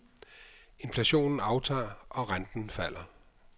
Inflationen aftager og renten falder.